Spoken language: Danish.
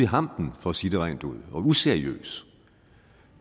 hampen for at sige det rent ud og useriøs